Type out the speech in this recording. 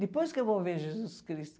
Depois que eu vou ver Jesus Cristo.